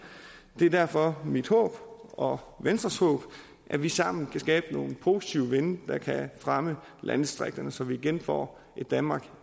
det er derfor mit håb og venstres håb at vi sammen kan skabe nogle positive vinde der kan fremme landdistrikterne så vi igen får et danmark